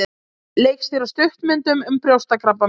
Leikstýra stuttmyndum um brjóstakrabbamein